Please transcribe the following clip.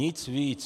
Nic víc.